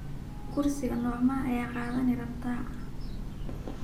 Kursi nocmaa aya kadhani rabtaa.